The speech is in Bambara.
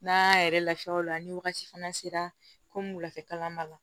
N'an y'a yɛrɛ lafiya o la ni wagati fana sera komi wulafɛla b'a la